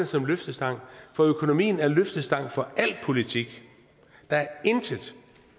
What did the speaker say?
som løftestang for økonomien er løftestang for der er intet